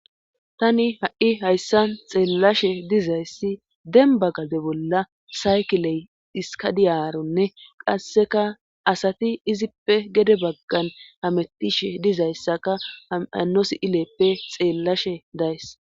tani ha7i hayssan xeellashe dizayssi denbba gade bolla saykiley dhiska diyaaronne qasseka asati izippe gede baggan hametishe dizayssaka ham hanno si7ileppe xeellashe days.